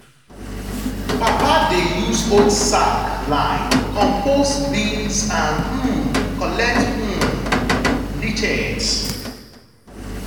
papa dey use old sack line compost bins and um collect um leachate.